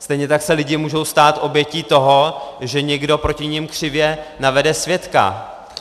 Stejně tak se lidi můžou stát obětí toho, že někdo proti nim křivě navede svědka.